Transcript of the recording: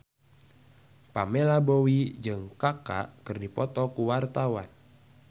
Pamela Bowie jeung Kaka keur dipoto ku wartawan